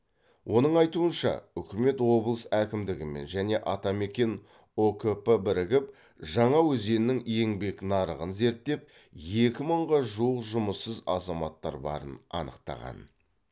оның айтуынша үкімет облыс әкімдігімен және атамекен ұкп бірігіп жаңаөзеннің еңбек нарығын зерттеп екі мыңға жуық жұмыссыз азаматтар барын анықтаған